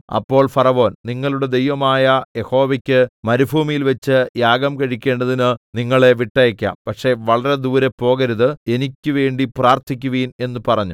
അപ്പോൾ ഫറവോൻ നിങ്ങളുടെ ദൈവമായ യഹോവയ്ക്ക് മരുഭൂമിയിൽവച്ച് യാഗം കഴിക്കേണ്ടതിന് നിങ്ങളെ വിട്ടയയ്ക്കാം പക്ഷേ വളരെ ദൂരെ പോകരുത് എനിക്കുവേണ്ടി പ്രാർത്ഥിക്കുവിൻ എന്ന് പറഞ്ഞു